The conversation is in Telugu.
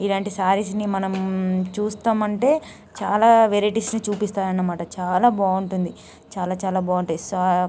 ఇలాంటి సారీస్ ని మనం చూస్తాం.అంటే చాలా వెరైటీస్ . చూపిస్తాయన్నమాట. చాల బాగుంటుంది. చాల చాల బాగుంటాయి. స--